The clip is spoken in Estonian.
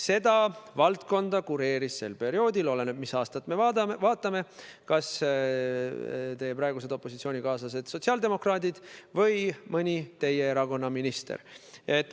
Seda valdkonda kureerisid sel perioodil – oleneb, mis aastat me vaatame – teie praegused opositsioonikaaslased sotsiaaldemokraadid või mõni teie erakonna minister.